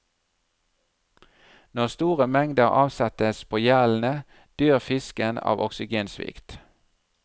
Når store mengder avsettes på gjellene, dør fisken av oksygensvikt.